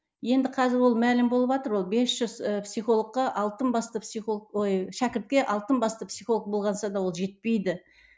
енді қазір ол мәлім болыватыр ол ол бес жүз і психологқа алтын басты психолог ой шәкіртке алтын басты психолог да ол жетпейді